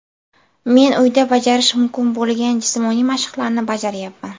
Men uyda bajarish mumkin bo‘lgan jismoniy mashqlarni bajaryapman.